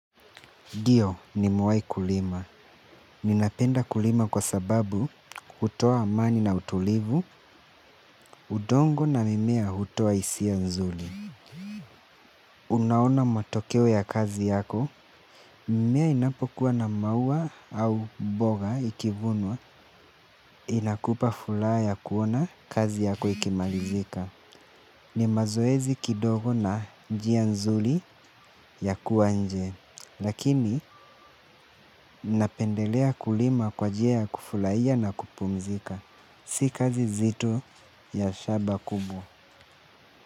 Ndiyo nimewai kulima. Ninapenda kulima kwa sababu hutoa amani na utulivu, udongo na mimea kutoa hisia nzuri. Unaona matokeo ya kazi yako, mimea inapokuwa na maua au mboga ikivunwa inakupa furaha ya kuona kazi yako ikimalizika. Ni mazoezi kidogo na njia nzuri ya kuwa nje. Lakini napendelea kulima kwa njia ya kufurahia na kupumzika. Si kazi nzito ya shamba kubwa.